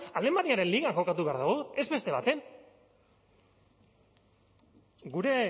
alemaniaren ligan jokatu behar dugu ez beste baten gure